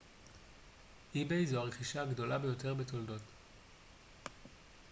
זו הרכישה הגדולה ביותר בתולדות ebay